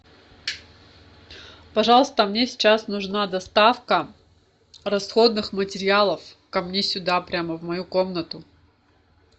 пожалуйста мне сейчас нужна доставка расходных материалов ко мне сюда прямо в мою комнату